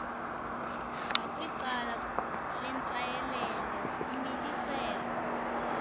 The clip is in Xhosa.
ngakwicala lentshayelelo umiliselo